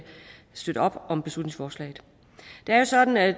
støtte op om beslutningsforslaget det er sådan at